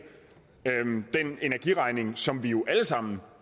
den energiregning som vi jo alle sammen